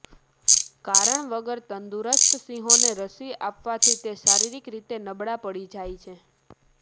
કારણ વગર તંદુરસ્ત સિંહોને રસી આપવાથી તે શારિરીક રીતે નબળા પડી જાય છે